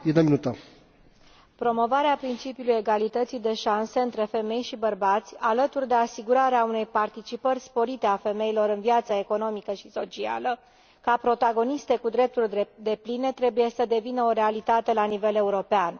Domnule președinte, promovarea principiului egalității de șanse între femei și bărbați, alături de asigurarea unei participări sporite a femeilor la viața economică și socială ca protagoniste cu drepturi depline trebuie să devină o realitate la nivel european.